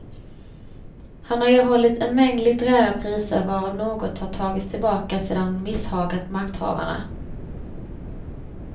Han har erhållit en mängd litterära priser, varav något har tagits tillbaka sedan han misshagat makthavarna.